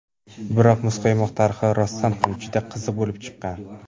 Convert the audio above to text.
Biroq muzqaymoq tarixi rostdan ham juda qiziq bo‘lib chiqqan.